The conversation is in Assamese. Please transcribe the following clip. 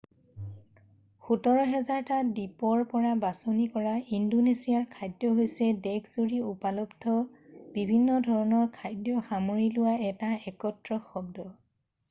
১৭,০০০টা দ্বীপৰ পৰা বাছনি কৰা ইন্দোনেছিয়াৰ খাদ্য হৈছে দেশজুৰি উপলব্ধ বিভিন্ন ধৰণৰ খাদ্য সামৰি লোৱা এটা একত্ৰ শব্দ।